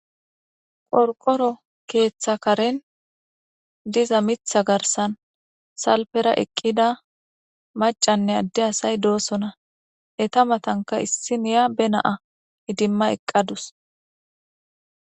Qorqoro keeththa karen diza mitha garsan salpera eqqida macanne adde asay doosona. Eta matanka issiniya ba naa idimma eqqa dawus.